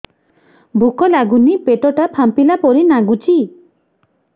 ଭୁକ ଲାଗୁନି ପେଟ ଟା ଫାମ୍ପିଲା ପରି ନାଗୁଚି